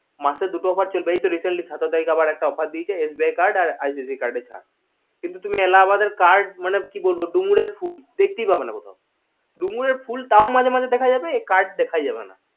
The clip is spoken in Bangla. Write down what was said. দেই মাসে দুটো offer চলবেইএই তো recently সতেরো তারিখে একটা offer দিয়েছে SBI card আর icic card এর সার কিন্তু এলাহাবাদের crad মানে কি বলবো ডুমুরের ফুল দেখতেই পাবে না কোথাও ডুমুরের ফুল তাও মাঝে মাঝে দেখা যাবে এই card দেখাই যাবে না